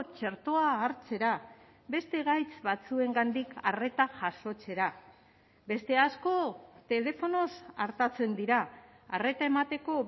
txertoa hartzera beste gaitz batzuengandik arreta jasotzera beste asko telefonoz artatzen dira arreta emateko